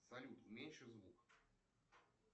салют уменьши звук